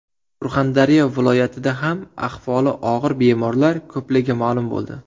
Surxondaryo viloyatida ham ahvoli og‘ir bemorlar ko‘pligi ma’lum bo‘ldi.